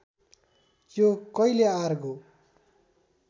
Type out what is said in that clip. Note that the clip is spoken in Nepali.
यो कहिले आरगो